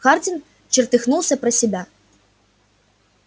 хардин чертыхнулся про себя